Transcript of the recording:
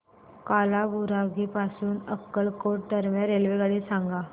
कालाबुरागी पासून अक्कलकोट दरम्यान रेल्वेगाडी सांगा